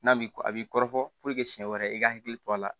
N'a b'i a b'i kɔrɔ siɲɛ wɛrɛ i ka hakili to a la